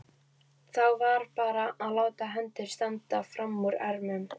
Þrátt fyrir aftakaveður sem komið var, gekk lendingin vel.